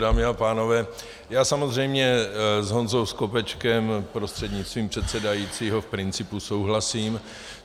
Dámy a pánové, já samozřejmě s Honzou Skopečkem prostřednictvím předsedajícího v principu souhlasím.